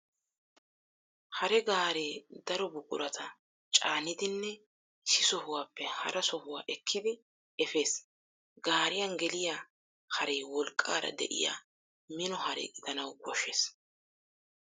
Hare gaaree daro buqurata caanidinne issi sohuwaappe hara sohuwaa ekkidi efees. Gaariyan geliyaa haree wolqqaara de'iya mino hare gidanawu koshshees.